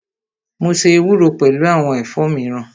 Mo ṣe ewúro pẹlu awọn ẹ̀fọ́ miran